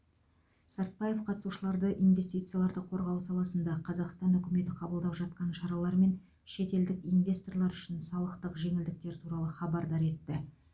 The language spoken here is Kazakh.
сартбаев қатысушыларды инвестицияларды қорғау саласында қазақстан үкіметі қабылдап жатқан шаралар мен шетелдік инвесторлар үшін салықтық жеңілдіктер туралы хабардар етті